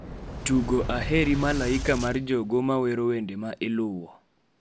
tugo Aheri malaika mar jogo ma wero wende ma iluwo